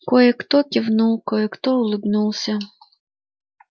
кое-кто кивнул кое-кто улыбнулся